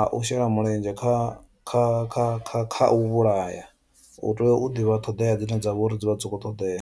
a u shela mulenzhe kha kha kha kha kha u vhulaya u tea u ḓivha ṱhoḓea dzine dza vha uri dzi vha dzi kho ṱoḓea.